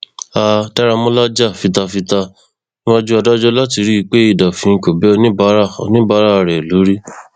a daramọlá jà fita fita níwájú adájọ láti rí i pé idà òfin kò bẹ oníbàárà oníbàárà rẹ lórí